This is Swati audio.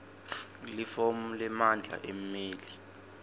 lifomu lemandla emmeli